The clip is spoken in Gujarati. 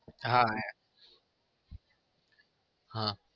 હા આયા. હા